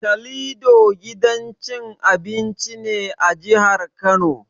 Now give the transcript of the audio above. Calido gidan cin abinci ne a jihar Kano.